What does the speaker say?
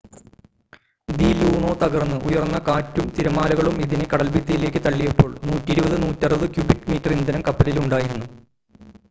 the Luno തകർന്ന് ഉയർന്ന കാറ്റും തിരമാലകളും ഇതിനെ കടൽഭിത്തിയിലേക്ക് തള്ളിയപ്പോൾ 120-160 ക്യൂബിക് മീറ്റർ ഇന്ധനം കപ്പലിൽ ഉണ്ടായിരുന്നു